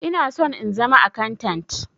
Ina son in zama akantant.